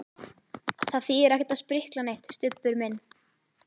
Það þýðir ekkert að sprikla neitt, Stubbur minn.